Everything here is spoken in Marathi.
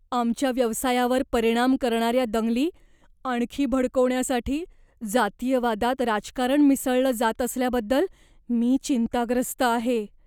आमच्या व्यवसायावर परिणाम करणाऱ्या दंगली आणखी भडकवण्यासाठी जातीयवादात राजकारण मिसळलं जात असल्याबद्दल मी चिंताग्रस्त आहे.